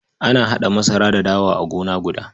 Ana haɗa masara da dawa a gona guda.